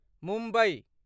Mumbai